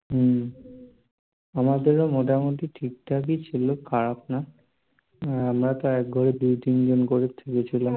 হম আমাদের ও মোটামুটি ঠিকঠাকই ছিলো খারাপ না. আমরা তো এক ঘরে দুই তিনজন করে শুয়েছিলাম